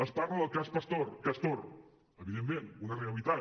es parla del cas castor evidentment una realitat